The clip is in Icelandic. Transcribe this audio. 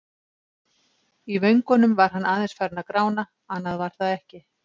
Í vöngunum var hann aðeins farinn að grána, annað var það ekki.